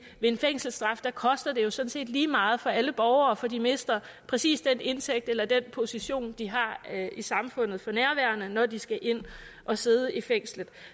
en fængselsstraf koster det sådan set lige meget for alle borgere for de mister præcis den indtægt eller position de har i samfundet når de skal ind og sidde i fængslet